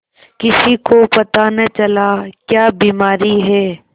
किसी को पता न चला क्या बीमारी है